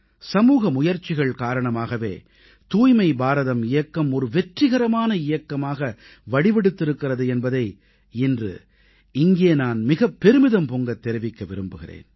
சமூக முயற்சிகள் காரணமாகவே தூய்மை பாரதம் இயக்கம் ஒரு வெற்றிகரமான இயக்கமாக வடிவெடுத்திருக்கிறது என்பதை இன்று இங்கே நான் மிகப் பெருமிதம் பொங்கத் தெரிவிக்க விரும்புகிறேன்